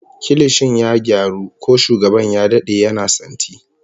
Kilishin ya gyaru, ko shugaban ya dade yana santi